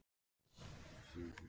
Við gerðum þetta mjög fagmannlega.